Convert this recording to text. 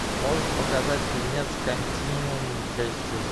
можешь показать фильмец континуум часть шесть